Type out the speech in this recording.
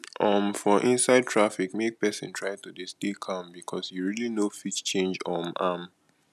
um for inside traffic make persin try to de stay calm because you really no fit change um am